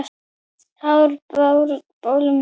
Hár á blótum þorra er.